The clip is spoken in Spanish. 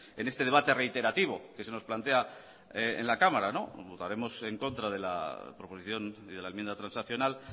en este debate reiterativo que se nos plantea en la cámara votaremos en contra de la proposición y de la enmienda transaccional